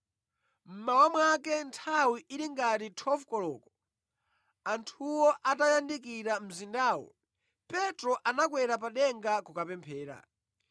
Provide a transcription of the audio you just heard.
Mmawa mwake, nthawi ili ngati 12 koloko anthuwo atayandikira mzindawo, Petro anakwera pa denga kukapemphera.